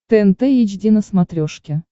тнт эйч ди на смотрешке